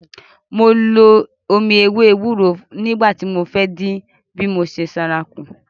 Mo lo omi ewé ewúro nígbà tí mo fẹ́ dín bí mo ṣe sanra kù.